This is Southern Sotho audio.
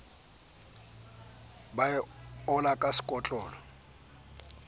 ba e ola ka sekotlolo